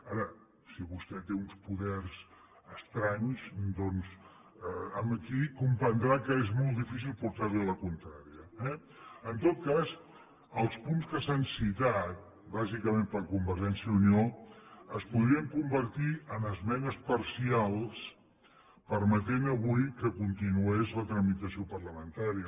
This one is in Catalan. ara si vostè té uns poders estranys doncs aquí comprendrà que és molt difícil portar li la contrària eh en tot cas els punts que s’han citat bàsicament per a convergència i unió es podrien convertir en esmenes parcials i permetre avui que continués la tramitació parlamentària